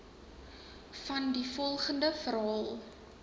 vandie volgende verhaal